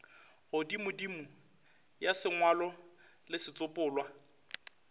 godimodimo ya sengwalo le setsopolwa